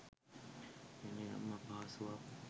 වෙනයම් අපහසුවක්